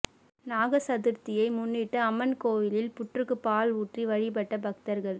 நாக சதுர்த்தியை முன்னிட்டு அம்மன் கோயிலில் புற்றுக்கு பால் ஊற்றி வழிப்பட்ட பக்தர்கள்